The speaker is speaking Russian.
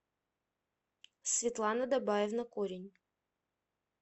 светлана дабаевна корень